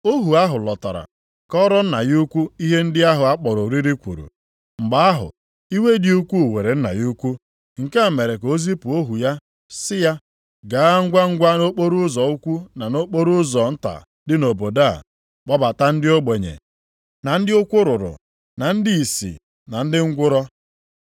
“Ohu ahụ lọtara, kọọrọ nna ya ukwu ihe ndị ahụ a kpọrọ oriri kwuru. Mgbe ahụ, iwe dị ukwuu were nna ya ukwu, nke a mere ka o zipụ ohu ya sị ya, ‘Gaa ngwangwa nʼokporoụzọ ukwu na nʼokporoụzọ nta dị nʼobodo a, kpọbata ndị ogbenye, na ndị ụkwụ rụrụ, na ndị ìsì na ndị ngwụrọ.’